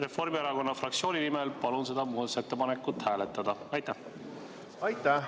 Reformierakonna fraktsiooni nimel palun seda muudatusettepanekut hääletada!